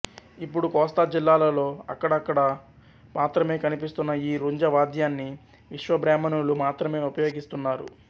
ఇప్పుడు కోస్తా జిల్లాలలో అక్కడక్కడ మాత్రమే కనిపిస్తున్న ఈ రుంజ వాద్యాన్ని విశ్వబ్రాహ్మణులు మాత్రమే ఉపయోగిస్తున్నారు